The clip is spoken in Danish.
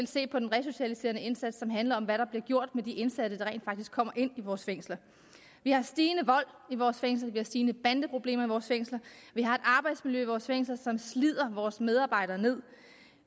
se på den resocialiserende indsats som handler om hvad der bliver gjort med de indsatte der rent faktisk kommer ind i vores fængsler vi har stigende vold i vores fængsler vi har stigende bandeproblemer i vores fængsler vi har et arbejdsmiljø i vores fængsler som slider vores medarbejdere ned